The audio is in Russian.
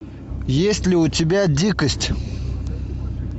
есть ли у тебя дикость